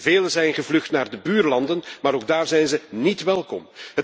Velen zijn gevlucht naar de buurlanden, maar ook daar zijn ze niet welkom.